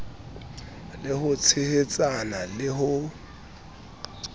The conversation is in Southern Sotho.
le ho tshehetsana le ho